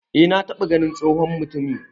E na taba ganin tsohon mutumi